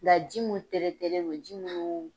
Ola ji mun non ji minnu